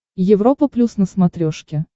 европа плюс на смотрешке